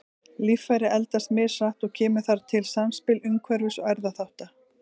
Líffæri eldast mishratt og kemur þar til samspil umhverfis- og erfðaþátta.